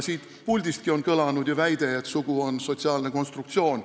Siit puldistki on ju kõlanud väide, et sugu on sotsiaalne konstruktsioon.